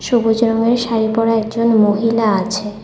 সবুজ রঙের শাড়ি পরা একজন মহিলা আছে।